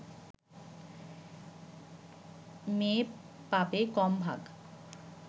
মেয়ে পাবে কম ভাগ